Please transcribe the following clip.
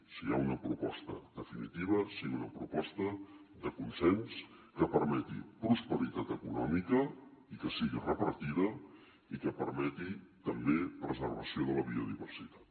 si hi ha una proposta definitiva sigui una proposta de consens que permeti prosperitat econòmica i que sigui repartida i que permeti també la preservació de la biodiversitat